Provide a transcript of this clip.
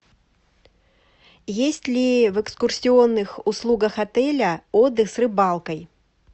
есть ли в экскурсионных услугах отеля отдых с рыбалкой